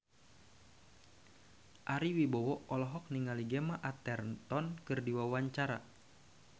Ari Wibowo olohok ningali Gemma Arterton keur diwawancara